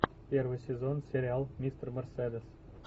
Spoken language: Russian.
первый сезон сериал мистер мерседес